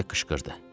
Starbek qışqırdı.